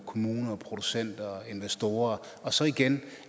kommuner producenter og investorer og så igen